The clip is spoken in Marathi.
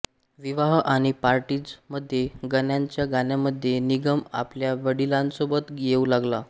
विवाह आणि पार्टीजमध्ये गाण्यांच्या गाण्यांमध्ये निगम आपल्या वडिलांसोबत येऊ लागला